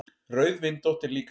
Rauðvindótt er líka til.